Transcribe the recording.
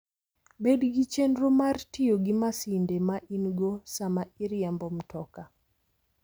Bed gi chenro mar tiyo gi masinde ma in-go sama iriembo mtoka.